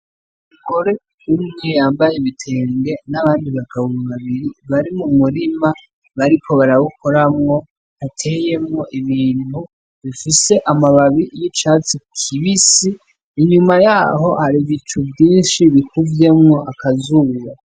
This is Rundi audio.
Umugore yunamye ,yambaye ibitenge n'abandi bagabo babiri bari m'umurima bariko barawukoramwo bateyemwo ibintu bifise amababi y'icasi kibisi inyuma yaho har'ibicu vyinshi bikuvyemwo akazuba.